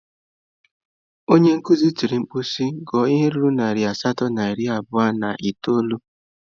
Onye nkuzi tiri mkpu si, gụọ ihe ruru narị asatọ na iri abụọ na itoolu!